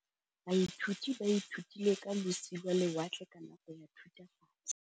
Baithuti ba ithutile ka losi lwa lewatle ka nako ya Thutafatshe.